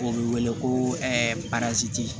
O bɛ wele ko